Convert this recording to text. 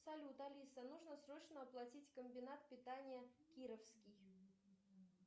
салют алиса нужно срочно оплатить комбинат питания кировский